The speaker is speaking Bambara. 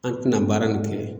An ti na baara in kɛ